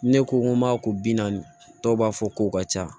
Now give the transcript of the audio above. Ne ko n ko m'a ko bi naani dɔw b'a fɔ k'o ka ca